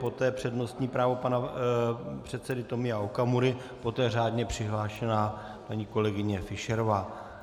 Poté přednostní právo pana předsedy Tomia Okamury, poté řádně přihlášená paní kolegyně Fischerová.